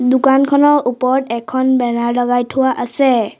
দোকানখনৰ ওপৰত এখন বেনাৰ লগাই থোৱা আছে।